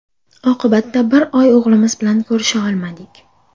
Oqibatda bir oy o‘g‘limiz bilan ko‘risha olmadik.